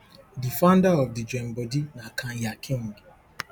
di founder of di joinbodi na kanya king